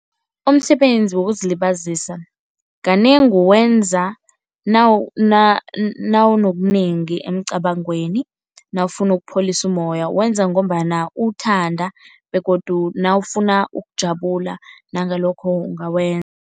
Umsebenzi wokuzilibazisa kanengi wenza nawunobunengi emcwabangweni, nawufuna ukupholisa umoya. Uwenza ngombana uwuthanda begodu nawufuna ukujabula nangalokho